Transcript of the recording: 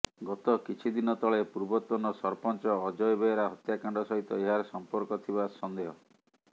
ଗତ କିଛି ଦିନ ତଳେ ପୂର୍ବତନ ସରପଂଚ ଅଜୟ ବେହେରା ହତ୍ୟାକାଣ୍ଡ ସହିତ ଏହାର ସମ୍ପର୍କ ଥିବା ସନେ୍ଦହ